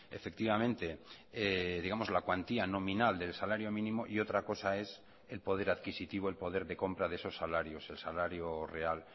efectivamente digamos la cuantía nominal del salario mínimo y otra cosa es el poder adquisitivo el poder de compra de esos salarios el salario real